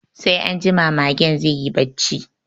Sai anjima magen zai yi barci